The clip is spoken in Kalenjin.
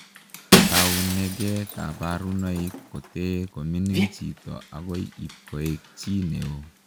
Tauneegei kabarunoik kotee komining chitoo agoi ipkoek chii neo.